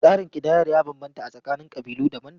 Tsarin kidayar ya bambanta a tsakanin ƙabilu daban-daban.